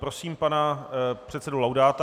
Prosím pana předsedu Laudáta.